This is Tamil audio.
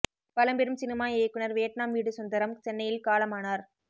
பழம்பெரும் சினிமா இயக்குனர் வியட்நாம் வீடு சுந்தரம் சென்னையில் காலமானார்